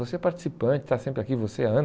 Você é participante, está sempre aqui, você